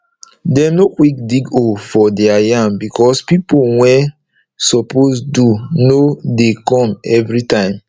dem nor quick dig hole for deir yam becos pipo wey suppose do nor dey come every time